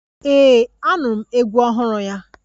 Ee, Anụrụ m egwu ọhụrụ ya.